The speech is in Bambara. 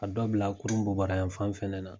Ka dɔ bila a kurun bɔbarayan fan fɛnɛ na.